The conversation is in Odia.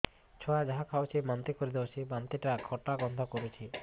ଛୁଆ ଯାହା ଖାଉଛି ବାନ୍ତି କରିଦଉଛି ବାନ୍ତି ଟା ଖଟା ଗନ୍ଧ କରୁଛି